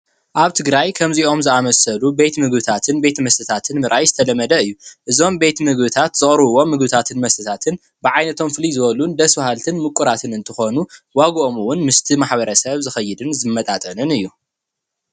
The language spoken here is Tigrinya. ኣብ ትግራይ ኸምዚኦም ዝኣመሰሉ ቤት ምግብታትን ቤት መስታትን ምርኣይ ዝተለመደ እዩ። እዞም ቤት ምግብታት ዘቅርብዎም ምግብታትን መስታትን ብዓይነቶም ፍልይ ዝበሉ ደስ በሃልትን ምቁራትን እንትኾኑ ዋገኦም ውን ምስቲ ማሕበረሰብ ዝኸድን ዝመጣጠንን እዩ።